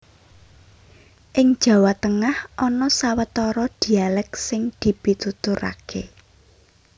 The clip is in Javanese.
Ing Jawa Tengah ana sawetara dhialèk sing dipituturaké